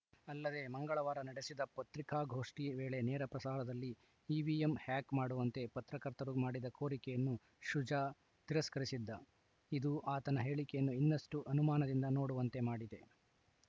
ಅಲ್ಲದೆ ಮಂಗಳವಾರ ನಡೆಸಿದ ಪತ್ರಿಕಾಗೋಷ್ಠಿ ವೇಳೆ ನೇರಪ್ರಸಾರದಲ್ಲಿ ಇವಿಎಂ ಹ್ಯಾಕ್‌ ಮಾಡುವಂತೆ ಪತ್ರಕರ್ತರು ಮಾಡಿದ ಕೋರಿಕೆಯನ್ನು ಶುಜಾ ತಿರಸ್ಕರಿಸಿದ್ದ ಇದು ಆತನ ಹೇಳಿಕೆಯನ್ನು ಇನ್ನಷ್ಟುಅನುಮಾನದಿಂದ ನೋಡುವಂತೆ ಮಾಡಿದೆ